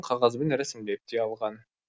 қағазбен рәсімдеп те алған